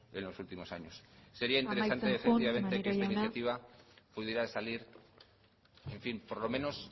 en los últimos años amaitzen joan maneiro jauna sería interesante que esta iniciativa pudiera salir en fin por lo menos